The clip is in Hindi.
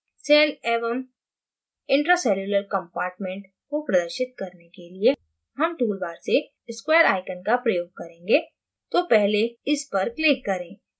cell एवं intracellular compartment को प्रदर्शित करने के लिये हम toolbar से square icon का प्रयोग करेंगें तो पहले इस पर click करें